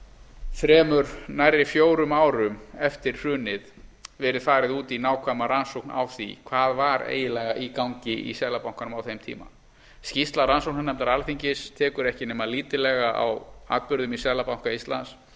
þremur nærri fjórum árum eftir hrunið verið farið út í nákvæma rannsókn á því hvað var eiginlega í gangi í seðlabankanum á þeim tíma skýrsla rannsóknarnefndar alþingis tekur ekki nema lítillega á atburðum í seðlabanka íslands